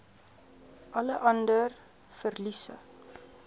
alle ander verliese